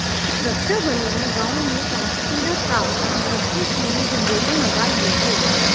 सुरक्षाबलों ने गांव में कॉन्सर्टीिना तार और रोशनी के लिए जनरेटर लगा लिए थे